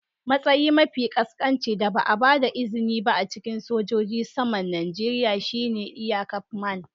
Matsayi mafi ƙasƙanci da ba a ba da izini ba a cikin sojojin saman Najeriya shine aircraftman.